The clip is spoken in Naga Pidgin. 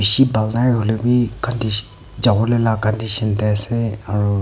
chi bal nai hoile bhi kandis jabo leh laga condition teh ase aro--